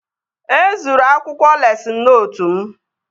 E zuru akwụkwọ lesịn nootu m